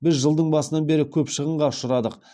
біз жылдың басынан бері көп шығынға ұшырадық